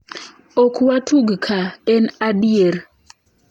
"Ok watug ka, en adier."